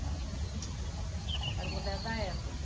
né?ra o moderno da época.